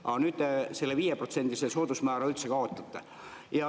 Aga nüüd te selle 5%‑lise soodusmäära üldse kaotate.